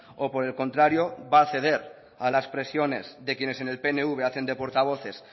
o por el contrario va a ceder a las presiones de quienes en el pnv hacen de portavoces